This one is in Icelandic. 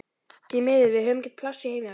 Því miður, við höfum ekki pláss í heimavist.